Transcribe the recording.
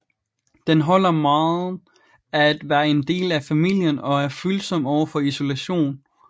Den holder meget af at være en del af familien og er følsom overfor isolation